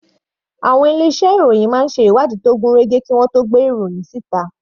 Àwọn ilé iṣẹ́ ìròhìn máa ń ṣe ìwádìí tó gún régé kí wọ́n tó gbé ìròhìn síta.